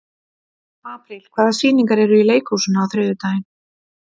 Apríl, hvaða sýningar eru í leikhúsinu á þriðjudaginn?